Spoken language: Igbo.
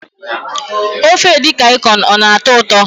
Ofe edikang ikong ọ na- atọ ụtọ?